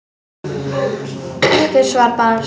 Ekkert svar barst.